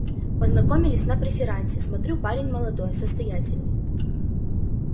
познакомились на преферансе смотрю парень молодой состоятельный